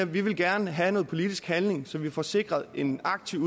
vi gerne vil have noget politisk handling så vi får sikret en aktiv